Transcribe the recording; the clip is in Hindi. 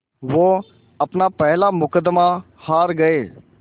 वो अपना पहला मुक़दमा हार गए